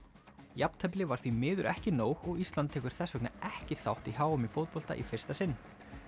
jafntefli var því miður ekki nóg og Ísland tekur þess vegna ekki þátt á h m í fótbolta í þetta sinn